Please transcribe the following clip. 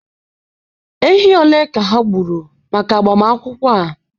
ehi ole ka ha gburu maka agbamakwụkwọ a?